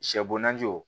Sɛ bo najiw